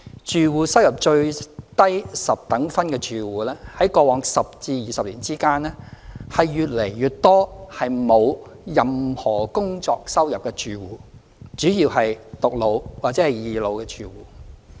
住戶收入最低十等分的住戶在過往10至20年間，越來越多是沒有任何工作收入的住戶，主要是"獨老"或"二老"的住戶。